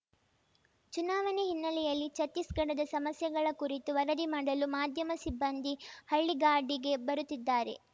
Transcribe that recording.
ಚುನಾವಣೆ ಹಿನ್ನೆಲೆಯಲ್ಲಿ ಛತ್ತೀಸ್‌ಗಢದ ಸಮಸ್ಯೆಗಳ ಕುರಿತು ವರದಿ ಮಾಡಲು ಮಾಧ್ಯಮ ಸಿಬ್ಬಂದಿ ಹಳ್ಳಿಗಾಡಿಗೆ ಬರುತ್ತಿದ್ದಾರೆ